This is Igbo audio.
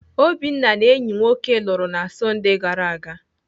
Obinna na enyi nwoke lụrụ na Sọndee gara aga.